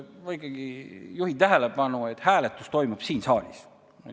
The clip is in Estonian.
Ma ikkagi juhin tähelepanu sellele, et hääletus toimub siin saalis.